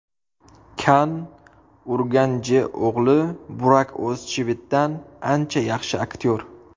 Kann Urganjio‘g‘li Burak O‘zchivitdan ancha yaxshi aktyor.